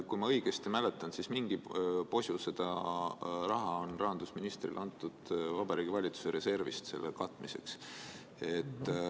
Kui ma õigesti mäletan, siis on mingi posu raha selle katmiseks antud rahandusministrile Vabariigi Valitsuse reservist.